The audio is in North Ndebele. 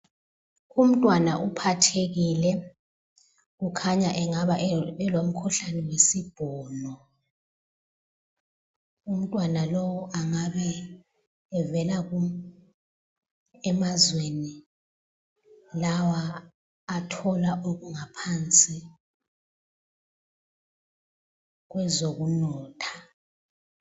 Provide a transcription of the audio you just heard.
Umntwana uphathekile, ukhanya engaba lomkhuhlane wesibhono. Umntwana lowu engabe evela emazweni lawa athola okungaphansi kwezokunotha.